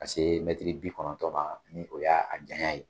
Ka se bi kɔnɔntɔma ni o y'a jayan ye